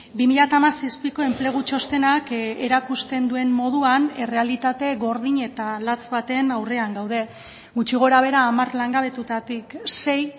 bi mila hamazazpiko enplegu txostenak erakusten duen moduan errealitate gordin eta latz baten aurrean gaude gutxi gorabehera hamar langabetutatik sei